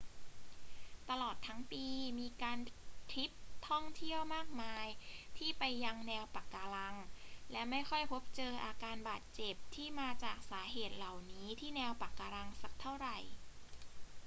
ตลอดทั้งปีมีการทริปท่องเที่ยวมากมายที่ไปยังแนวปะการัง และไม่ค่อยพบเจออาการบาดเจ็บที่มาจากสาเหตุเหล่านี้ที่แนวปะการังสักเเท่าไร